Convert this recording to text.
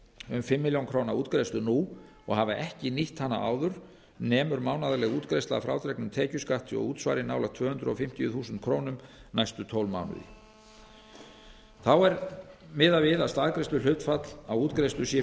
um fimm milljónir króna útgreiðslu nú og hafa ekki nýtt hana áður nemur mánaðarleg útgreiðsla að frádregnum tekjuskatti og útsvari nálægt tvö hundruð fimmtíu þúsund króna næstu tólf mánuði þá er miðað við að staðgreiðsluhlutfall á útgreiðslu sé